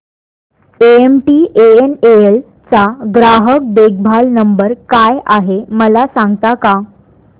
MTNL चा ग्राहक देखभाल नंबर काय आहे मला सांगता का